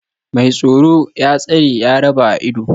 Mai tsoro, ya tsare, ya raba a ido